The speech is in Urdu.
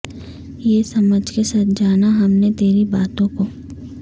یہ سمجھ کے سچ جانا ہم نے تیری باتوں کو